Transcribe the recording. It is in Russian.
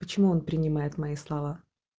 почему он принимает мои слова